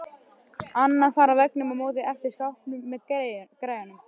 Annað far á veggnum á móti eftir skápinn með græjunum.